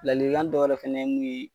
Lalikan dɔ wɛrɛ fɛnɛ ye mun ye